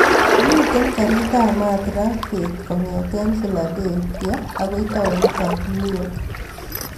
Mi karit ap maat raa bet kongeten philadelphia agoi taonit ap new york